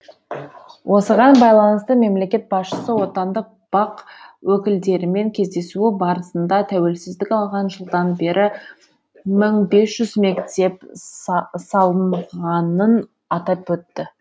осыған байланысты мемлекет басшысы отандық бақ өкілдерімен кездесуі барысында тәуелсіздік алған жылдан бері мың бес жүз мектеп салынғанын атап өтті